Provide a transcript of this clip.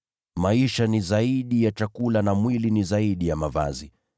Maisha ni zaidi ya chakula, na mwili ni zaidi ya mavazi.